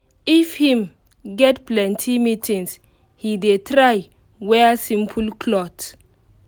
if him get plenty meetings he dey try wear simple clot